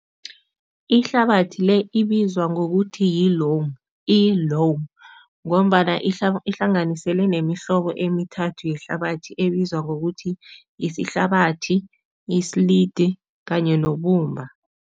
Ihlabathi le ibizwa ngokuthi yi-loam, iyi-loam ngombana ihlanganiselwe nemihlobo emithathu yehlabathi ebizwa ngokuthi yisihlabathi, isiliti kanye nobumba.